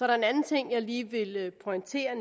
der en anden ting jeg lige vil pointere og